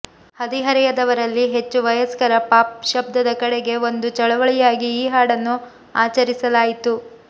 ಹದಿಹರೆಯದವರಲ್ಲಿ ಹೆಚ್ಚು ವಯಸ್ಕರ ಪಾಪ್ ಶಬ್ದದ ಕಡೆಗೆ ಒಂದು ಚಳುವಳಿಯಾಗಿ ಈ ಹಾಡನ್ನು ಆಚರಿಸಲಾಯಿತು